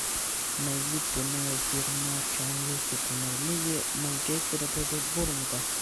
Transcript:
найди прямой эфир матча английской премьер лиги манчестера против борнмута